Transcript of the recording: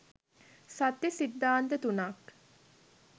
සත්‍ය සිද්ධාන්ත තුනක්